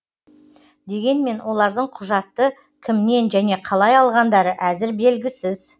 дегенмен олардың құжатты кімнен және қалай алғандары әзір белгісіз